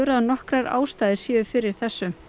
að nokkrar ástæður séu fyrir þessu